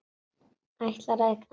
Ætlar að eignast mann.